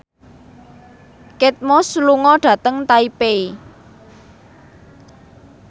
Kate Moss lunga dhateng Taipei